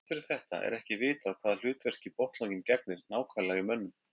Þrátt fyrir þetta er ekki vitað hvaða hlutverki botnlanginn gegnir nákvæmlega í mönnum.